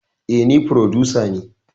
Eh ni frodusa ne